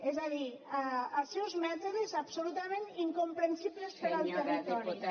és a dir els seus mètodes absolutament incomprensibles per al territori